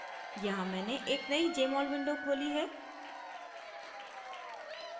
यहाँ मैंने एक नयी jmol window खोली है